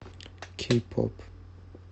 кей поп